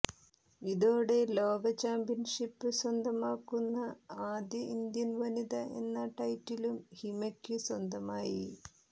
ഇതോടെ ലോക ചാമ്പ്യന്ഷിപ് സ്വന്തമാക്കുന്ന ആദ്യ ഇന്ത്യന് വനിത എന്ന ടൈറ്റിലും ഹിമയ്ക്കു സ്വന്തമായി